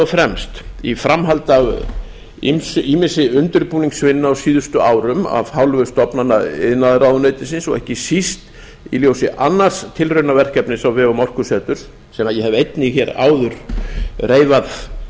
fremst í framhaldi af ýmissi undirbúningsvinnu á síðustu árum af hálfu stofnana iðnaðarráðuneytisins og ekki síst í ljósi annars tilraunaverkefnis á vegum orkuseturs eða ég hef einnig áður reifað